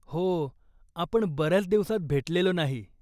हो. आपण बऱ्याच दिवसात भेटलेलो नाही.